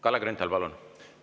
Kalle Grünthal, palun!